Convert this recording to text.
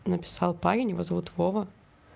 написал парень его зовут вова